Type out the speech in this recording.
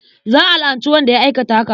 Za a la'anci wanda ya aikata haka.